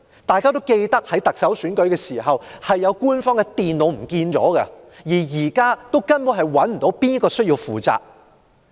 大家諒會記得，在過去的特首選舉中，曾有官方電腦不知所終，至今仍不知道誰人需要負責。